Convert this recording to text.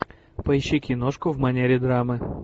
поищи киношку в манере драмы